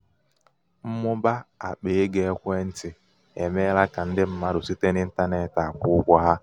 mmụba akpa égo ekwentị emeela ka ndị mmadụ site n'intanetị akwụ ụgwọ ha.